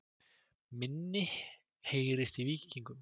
Minna heyrist í Víkingum